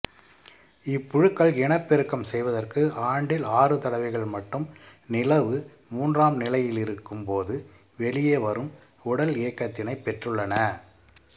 இப்புழுக்கள் இனப்பெருக்கம் செய்வதற்கு ஆண்டில் ஆறு தடவைகள் மட்டும் நிலவு மூன்றாம் நிலையிலிருக்கும்போது வெளியே வரும் உடலியகத்தினைப் பெற்றுள்ளன